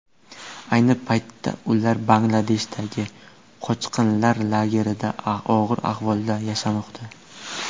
Ayni paytda ular Bangladeshdagi qochqinlar lagerlarida og‘ir ahvolda yashamoqda.